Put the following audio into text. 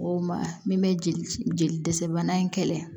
O ma min bɛ jeli jeli dɛsɛ bana in kɛlɛ